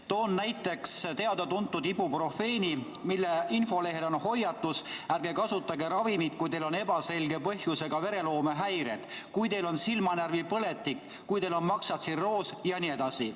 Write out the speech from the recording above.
Toon näiteks teada-tuntud ibuprofeeni, mille infolehel on hoiatus, et ärge kasutage ravimit, kui teil on ebaselge põhjusega vereloomehäired, kui teil on silmanärvipõletik, kui teil on maksatsirroos jne.